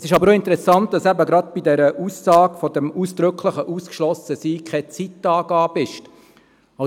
Es ist aber auch interessant, dass eben gerade bei dieser Aussage vom ausdrücklichen Ausgeschlossensein keine Zeitangabe steht.